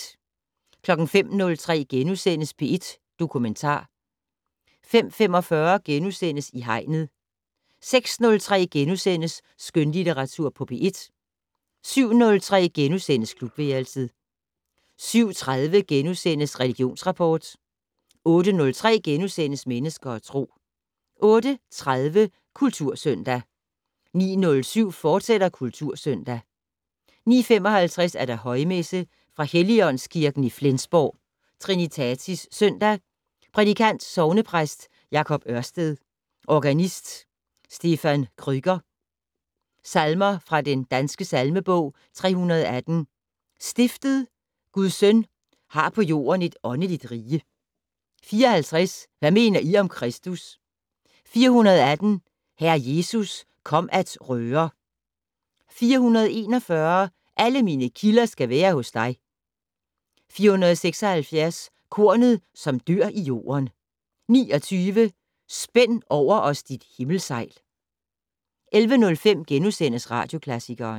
05:03: P1 Dokumentar * 05:45: I Hegnet * 06:03: Skønlitteratur på P1 * 07:03: Klubværelset * 07:30: Religionsrapport * 08:03: Mennesker og Tro * 08:30: Kultursøndag 09:07: Kultursøndag, fortsat 09:55: Højmesse - Fra Helligåndskirken i Flensborg. Trinitatis søndag. Prædikant: Sognepræst Jacob Ørsted. Organist: Stephan Krueger. Salmer fra den danske salmebog: 318 "Stiftet Guds Søn har på jorden et åndeligt rige". 54 "Hvad mener I om Kristus". 418 "Herre Jesus, kom at røre". 441 "Alle mine kilder skal være hos dig". 476 "Kornet, som dør i jorden". 29 "Spænd over os dit himmelsejl". 11:05: Radioklassikeren *